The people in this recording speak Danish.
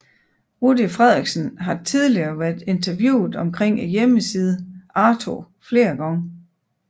Rudy Frederiksen har tidligere været interviewet omkring hjemmesiden Arto flere gange